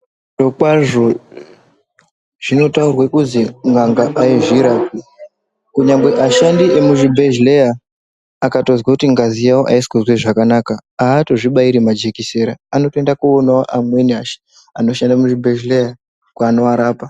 Zvirokwazvo zvinotaurwe kuzi n'anga haizvirapi kunyangwe ashandi emuzvibhedhleya akatozwe kuti ngazi yawo haisikuzwe zvakanaka haatozvibairi majekisera anotoenda koonawo amweni anoshanda muzvibhedhleya kwanoarapa.